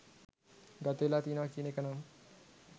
ගතවෙලා තියනවා කියන එකනම්